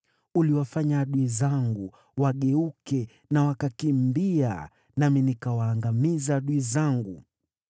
Uliwafanya adui zangu wageuke na kukimbia, nami nikawaangamiza adui zangu.